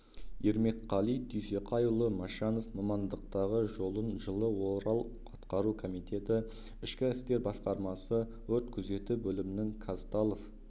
ермекқали дүйсеқайұлы машанов мамандықтағы жолын жылы орал атқару комитеті ішкі істер басқармасы өрт күзеті бөлімінің казталов